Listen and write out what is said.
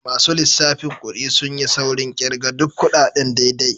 Masu lissafin kudi sun yi saurin kirga duk kudaden daidai.